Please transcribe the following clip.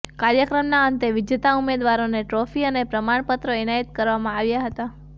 કાર્યક્રમનાં અંતે વિજેતા ઉમેદવારોને ટ્રોફી અને પ્રમાણપત્રો એનાયત કરવામાં આવ્યા હતા